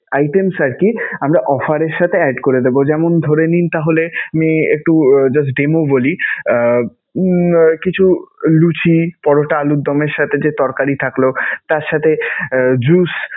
items আরকি আমরা offer এর সাথে add করে দেবো. যেমনঃ ধরে নিন তাহলে আমি একটু just demo বলি, আহ কিছু লুচি, পরোটা, আলুর দমের সাথে যে তরকারী থাকলো, তার সাথে juice